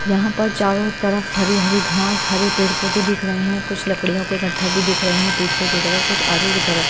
यहां पर चारों तरफ हरी हरी घास हरे पेड़ पौधे दिख रहे हैं कुछ लड़कियों के गट्ठे भी दिख रहे हैं पीछे की तरफ कुछ आगे की तरफ।